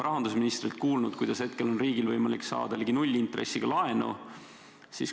Rahandusministrilt oleme kuulnud, et hetkel on riigil võimalik saada ligi nullintressiga laenu.